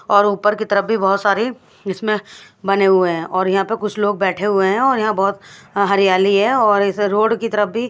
और ऊपर की तरफ भी बहोत सारी इसमें बने हुए हैं और यहां पे कुछ लोग बैठे हुए हैं और यहां बहोत हरियाली है और इस रोड की तरफ भी--